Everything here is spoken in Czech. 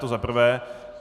To za prvé.